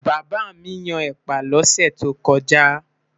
bàbá mí Yàn ẹpa lose tó koja